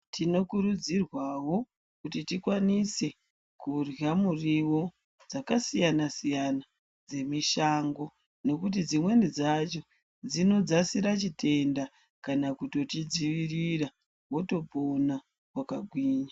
Tinokurudzirwawo kuti tikwanise kurya muriwo dzakasiyana siyana dzemishango nekuti dzimweni dzacho dzinodzasire chitenda kana kutotidzivirira wotopona wakagwinya